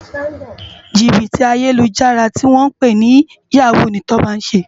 Jibiti Ayélújàrá tiwòn pè ni yáwú ni Toba n sé